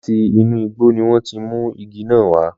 Láti inú igbó ni wọn ti mú igi náà wa